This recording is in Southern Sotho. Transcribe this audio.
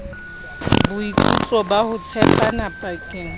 boikutlo ba ho tshepana pakeng